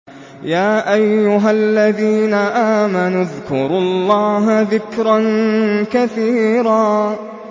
يَا أَيُّهَا الَّذِينَ آمَنُوا اذْكُرُوا اللَّهَ ذِكْرًا كَثِيرًا